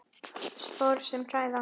Spor sem hræða.